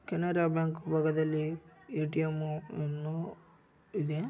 Canara bank ಭಾಗದಲ್ಲಿ ATM. ನೂ ಇದೆ.